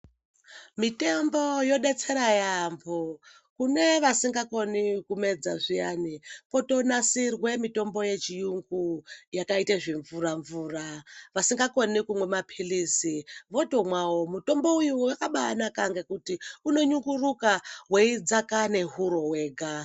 Mitombo yodetsera yyambo kune vasingakoni kumedza zviyani potonasirwe mitombo yechiyungu yakaite zvimvura mvura vasinga koni kunwa mapilizi votomwa wo mutombo uyu wakaba naka ngekuti unonyunguruka weidzaka nehuro wega .